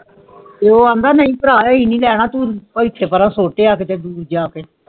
ਤੇ ਓਅੰਦਾ ਮੇਰਾ ਪੈਰਾ ਏ ਨਹੀਂ ਲੈਣਾ ਤੂੰ ਬੜਾ ਸੋਚਿਆ ਕਿਥੇ ਬੜਾ ਦੂਰ ਜਾਕੇ